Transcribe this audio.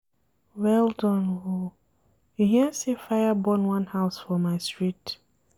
Well done o, you hear sey fire burn one house for my street?